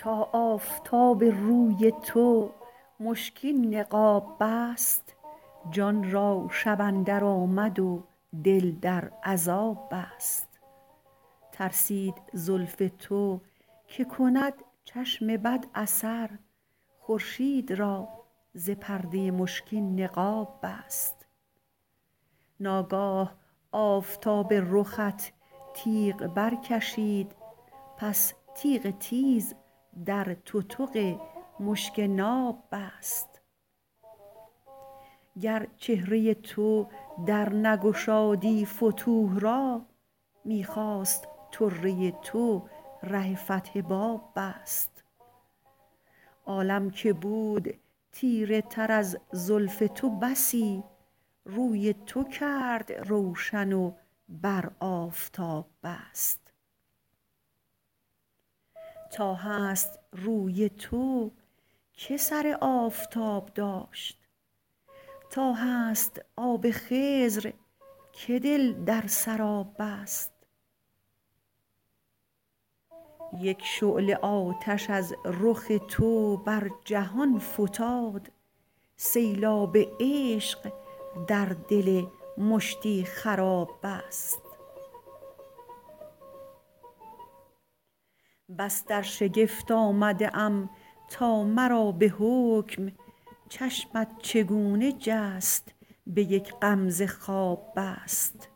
تا آفتاب روی تو مشکین نقاب بست جان را شب اندر آمد و دل در عذاب بست ترسید زلف تو که کند چشم بد اثر خورشید را ز پرده مشکین نقاب بست ناگاه آفتاب رخت تیغ برکشید پس تیغ تیز در تتق مشک ناب بست گر چهره تو در نگشادی فتوح را می خواست طره تو ره فتح باب بست عالم که بود تیره تر از زلف تو بسی روی تو کرد روشن و بر آفتاب بست تا هست روی تو که سر آفتاب داشت تا هست آب خضر که دل در سراب بست یک شعله آتش از رخ تو بر جهان فتاد سیلاب عشق در دل مشتی خراب بست بس در شگفت آمده ام تا مرا به حکم چشمت چگونه جست به یک غمزه خواب بست